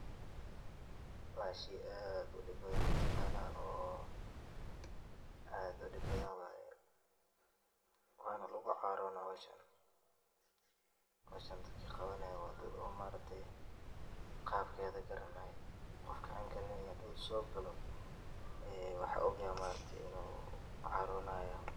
Waa shey aad udib badhan mataqanaa oo aad udib badhan waaye wana lagucaarona waye howshan dadki qabanaya waa dad oo maaragtey qabkeedha garanaya. qofka aan garaneynin haduu sogalo waxan ogaxay maaragte inuu caroo naya.